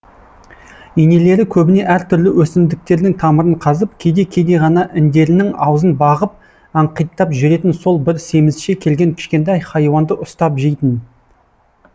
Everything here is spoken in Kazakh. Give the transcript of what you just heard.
енелері көбіне әр түрлі өсімдіктердің тамырын қазып кейде кейде ғана індерінің аузын бағып аңқиттап жүретін сол бір семізше келген кішкентай хайуанды ұстап жейтін